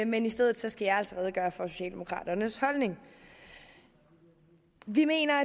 men i stedet skal jeg altså redegøre for socialdemokraternes holdning vi mener